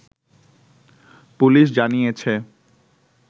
police জানিয়েছে